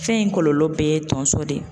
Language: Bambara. Fɛn in kɔlɔlɔ bɛɛ ye tonso de ye.